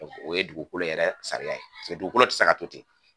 O ye dugukolo yɛrɛ sariya ye dugukolo tɛ se ka to ten.